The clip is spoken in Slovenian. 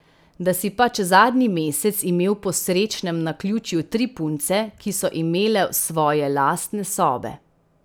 Da si pač zadnji mesec imel po srečnem naključju tri punce, ki so imele svoje lastne sobe.